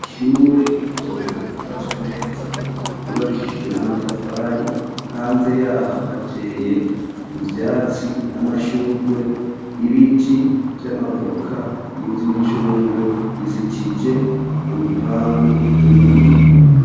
Ishure, ry'ikobero, ryubatswe neza ryubakishijwe n'amatafari, hanze yaho hateye ivyatsi n'amashugwe, ibiti vy'amavoka, n'ivy'imicungwe bizitije urupangu rw'imbingo.